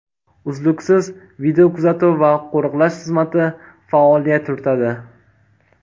Uzluksiz videokuzatuv va qo‘riqlash xizmati faoliyat yuritadi.